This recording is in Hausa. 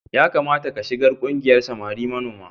Ya kamata ka shigar ƙungiyar samari manoma.